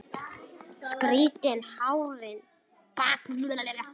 Strýkur hárinu bak við eyrað.